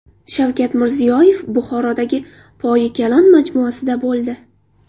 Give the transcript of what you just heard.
Shavkat Mirziyoyev Buxorodagi Poyi Kalon majmuasida bo‘ldi.